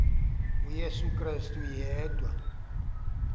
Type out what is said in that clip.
uyesu krestu yedwa